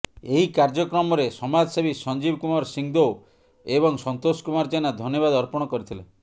ଏହି କାର୍ଯ୍ୟକ୍ରମରେ ସମାଜସେବୀ ସଞ୍ଜୀବ କୁମାର ସିଂଦେଓ ଏବଂ ସନ୍ତୋଷ କୁମାର ଜେନା ଧନ୍ୟବାଦ ଅର୍ପଣ କରିଥିଲେ